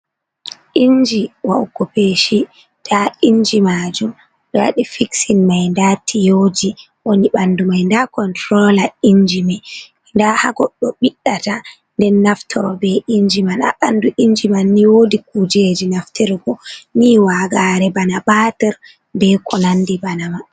"Inji wa'uko peshi" nda inji majum ɓe waɗi fiksin mai nda tiyoji woni ɓandu mai nda kontrola inji mai da ha goddo biɗdata nden naftoro be inji man ha bandu inji man ni wodi kujeji naftirgo ni wagare bana bater be ko nandi bana mai.